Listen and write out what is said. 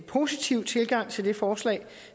positiv tilgang til det forslag